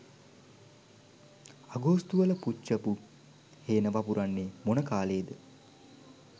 අගෝස්තු වල පුච්චපු හේන වපුරන්නේ මොන කාලයේද?